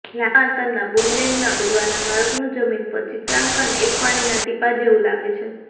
લાંબા અંતરના બૂમરેંગના ઉડવાના માર્ગનું જમીન પર ચિત્રાંકન એક પાણીના ટીપાં જેવું લાગે છે